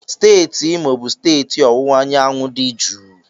Imo steeti bụ steeti ọwụwa anyanwụ dị jụụ.